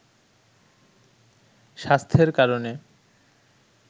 স্বাস্থ্যের কারণে